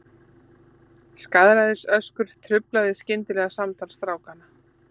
Skaðræðisöskur truflaði skyndilega samtal strákanna.